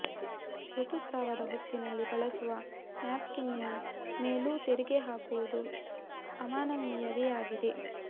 ಋತುಸ್ರಾವದ ಹೊತ್ತಿನಲ್ಲಿ ಬಳಸುವ ನ್ಯಾಪ್ಕಿನ್ನಿನ ಮೇಲೂ ತೆರಿಗೆ ಹಾಕುವುದು ಅಮಾನವೀಯವೇ ಆಗಿದೆ